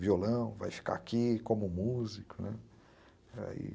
violão, vai ficar aqui como músico.